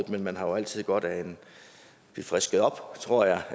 men man har jo altid godt af at blive frisket op tror jeg